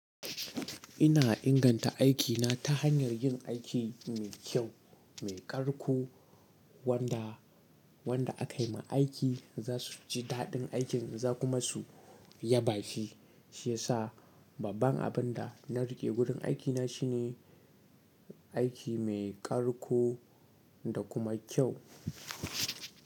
Ina inganta aikina ta hanyar yin aiki mai kyau, mai ƙarƙo wanda wanda aka yi ma aiki za su ji daɗin aikin za kuma su yaba shi, shi ya sa babban abin da na riƙe gurin aikina shi ne aiki mai ƙarƙo da kuma kyau.